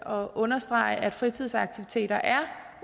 og understrege at fritidsaktiviteter er